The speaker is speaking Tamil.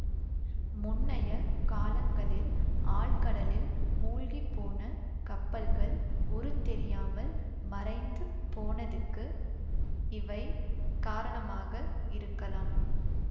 முன்னைய காலங்களில் ஆழ்கடலில் மூழ்கிப்போன கப்பல்கள் உருத்தெரியாமல் மறைந்து போனதுக்கு இவை காரணமாக இருக்கலாம்